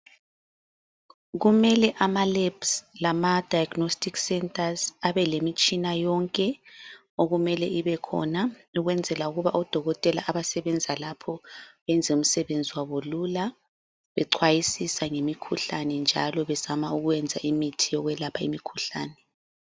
Kumele amaLabs lama diagnostic centres abelemitshina yonke okumele ibekhona ukwenzela ukuba odokotela bonke abasebenza lapho benze umsebenzi wabo lula bexwayisisa ngemikhuhlane njalo bezama ukwenza imithi yokwelapha imikhuhlane.